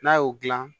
N'a y'o dilan